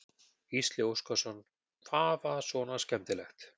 Gísli Óskarsson: Hvað var svona skemmtilegt?